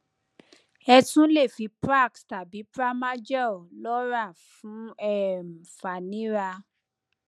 ẹ tún le fi prax tàbí pramagel lọrà fún um fàníra